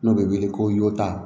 N'o bɛ wele ko